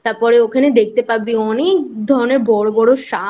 তারপরে ওখানে দেখতে পাবি অনেক ধরণের বড়ো বড়ো ষাঁড়